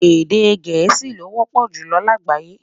Èdè gèésì ló wọpọ julọ lágbayé